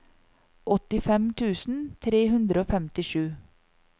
åttifem tusen tre hundre og femtisju